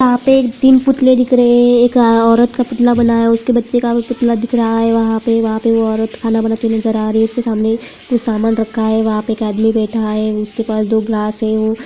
यहाँ पे तीन पुतले दिख रहे हैं एक औरत का पुतला बना है उसके बच्चे का भी पुतला दिख रहा है वहाँ पे वहाँ पे वो औरत खाना बनती नज़र आ रही है उसके सामने कुछ समान रखा है वहाँ पे एक आदमी बैठा है उसके पास दो गिलास हैं वो --